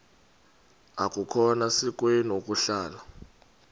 akukhona sikweni ukuhlala